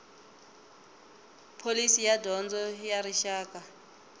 pholisi ya dyondzo ya rixaka